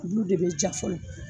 Olu de bɛ ja fɔlɔ